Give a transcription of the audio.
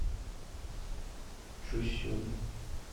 чусюн